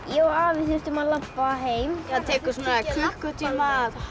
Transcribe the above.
ég og afi þurfum að labba heim það tekur svona klukkutíma